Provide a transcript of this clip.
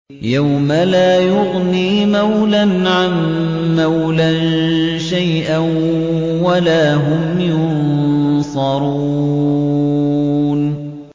يَوْمَ لَا يُغْنِي مَوْلًى عَن مَّوْلًى شَيْئًا وَلَا هُمْ يُنصَرُونَ